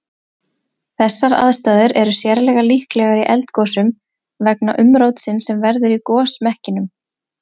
Þessar aðstæður er sérlega líklegar í eldgosum vegna umrótsins sem verður í gosmekkinum.